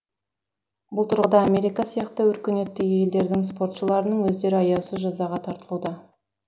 бұл тұрғыда америка сияқты өркениетті елдердің спортшыларының өздері аяусыз жазаға тартылуда